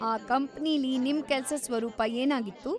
ಆ ಕಂಪನಿಲಿ ನಿಮ್ ಕೆಲ್ಸದ್ ಸ್ವರೂಪ ಏನಾಗಿತ್ತು?